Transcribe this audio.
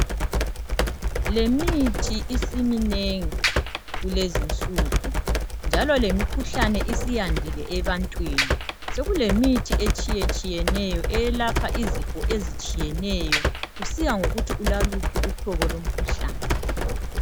lemithi isiminengi kulezinsuku njalo lemikhuhlane isiyandile ebantwini sekulemithi etshiyetshiyeneyo eyelapha izifo ezitshiyetshiyeneyo kusiya ngokuthi ulaluphi uhlobo lomkhuhlane